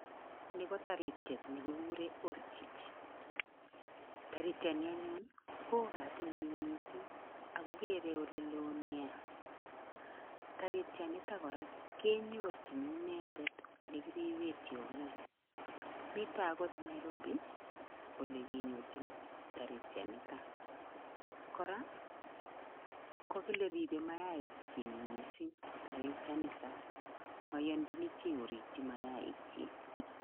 Ni ko taritiet ne kikure Ostrich, taritiani anyun ii, ko oo katinyi mising ako kerei ole loo nea, taritianitok kora kenyorchin inendet olekiripe tiongik, mito akot Nairobi ole kinyorchin taritianita, kora kokile ribe mayaik chi mising taritianita, maiyanchini chii korikyi mayaik chi.